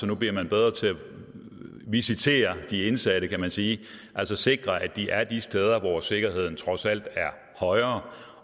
nu bliver bedre til at visitere de indsatte kan man sige altså sikre at de er de steder hvor sikkerheden trods alt er højere